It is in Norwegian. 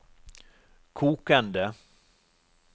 kokende